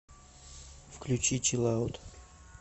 включи чилаут